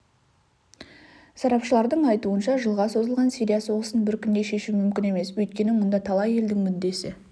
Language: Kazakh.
сарапшылардың айтуынша жылға созылған сирия соғысын бір күнде шешу мүмкін емес өйткені мұнда талай елдің мүддесі